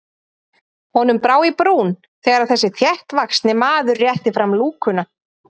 Honum brá í brún þegar þessi þéttvaxni maður rétti fram lúkuna.